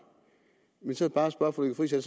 men så bare spørge fru lykke friis er